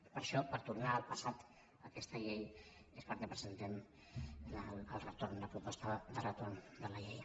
i per això per tornar al passat aquesta llei és pel que presentem el retorn la proposta de retorn de la llei